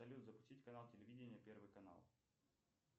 салют запустить канал телевидения первый канал